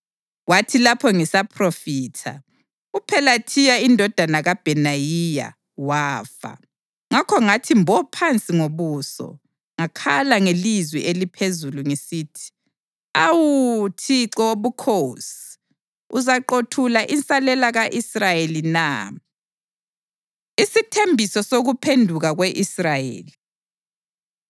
Kwathi lapho ngisaphrofitha, uPhelathiya indodana kaBhenayiya wafa. Ngakho ngathi mbo phansi ngobuso ngakhala ngelizwi eliphezulu ngisithi, “Awu, Thixo Wobukhosi! Uzaqothula insalela ka-Israyeli na?” Isithembiso Sokuphenduka Kwe-Israyeli